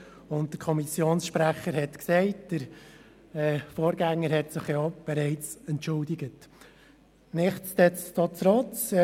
Der Kommissionssprecher hat gesagt, dass sich der Vorgänger auch bereits entschuldigt hat.